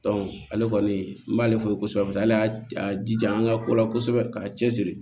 ale kɔni n b'ale fo kosɛbɛ paseke ale y'a jija an ka ko la kosɛbɛ k'a cɛ siri